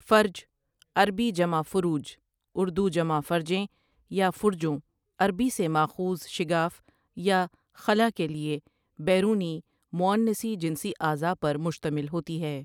فَرج عربی جمع فُرُوج، اردو جمع فرجیں یا فرجوں، عربی سے ماخوذ شگاف یا خلا کے لیے بیرونی مؤنثی جنسی اعضا پر مشتمل ہوتی ہے ۔